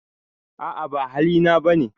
A'a ba hali na ba ne.